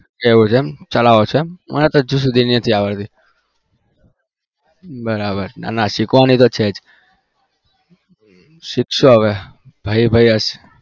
એવું છે ચલાવો છો મને તો હજુ સુધી નથી આવડતી બરાબર નાં નાં શીખવાની તો છે જ શીખશું હવે ભાઈ ભાઈ